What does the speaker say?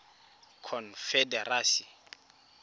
confederacy